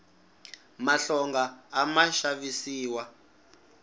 mahlonga a ma xavisiwa